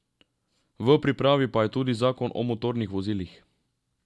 V pripravi pa je tudi zakon o motornih vozilih.